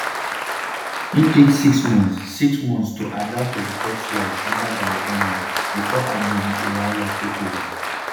im take six months six months to adapt to di top flight under gary o'neil bifor andoni iraola take ova.